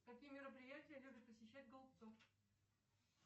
какие мероприятия любит посещать голубцов